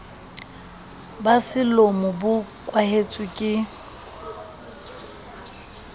ba selomo bo kwahetswe ke